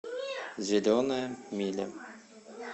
зеленая миля